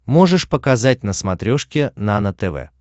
можешь показать на смотрешке нано тв